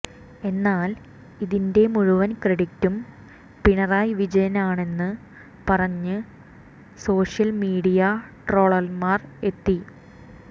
എന്നാൽ ഇതിന്റെ മുഴുവൻ ക്രെഡിറ്റും പിണറായി വിജയനാണെന്ന് പറഞ്ഞ് സാഷ്യൽ മീഡിയ ട്രോളന്മാർ എത്തി